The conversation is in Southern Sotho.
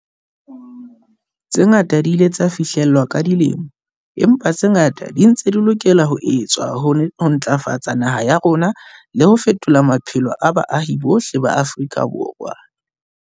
Tse ngata di ile tsa fihlellwa ka dilemo, empa tse ngata di ntse di lokela ho etswa ho ntlafatsa naha ya rona le ho fetola maphelo a baahi bohle ba Afrika Borwa.